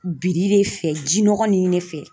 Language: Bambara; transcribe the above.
Biri de fɛ jinɔgɔ ninnu de fɛ